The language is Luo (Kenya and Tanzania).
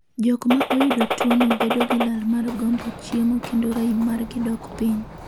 Jokmaa oyudo tuo no bedo gi lal mar gombo chiemo kendo raim margi dok piny